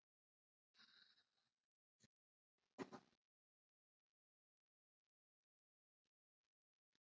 Inntak meðalhófsreglunnar er í megindráttum þríþætt.